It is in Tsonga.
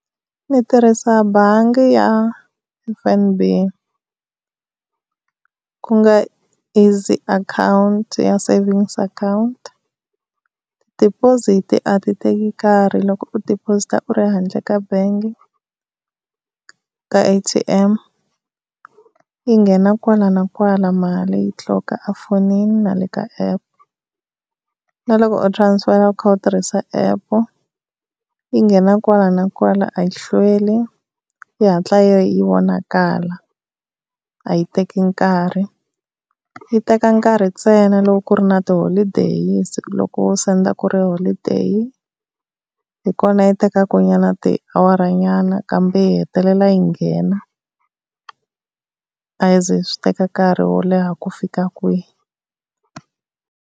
Ni tirhisa bangi ya F_N_B ku nga easy account ya savings account. Deposit a ti teki nkarhi loko u deposit-a u ri handle ka bangi ka A_T_M. Yi nghena kwala na kwala mali yi tliloka efonini na le ka app. Na loko u transfer u kha u tirhisa app yi nghena kwala na kwala a yi hlweli, yi hatla yi vonakala a yi teki nkarhi. Yi teka nkarhi ntsena loko ku ri na ti-holiday loko wo senda ku ri holiday hi kona yi tekaka nyana tiawara nyana, kambe yi hetelela yi nghena. A swi zi swi teka nkarhi wo leha ku fika kwihi.